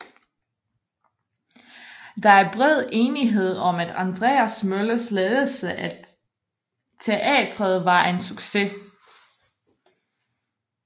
Der er bred enighed om at Andreas Møllers ledelse af teatret var en succes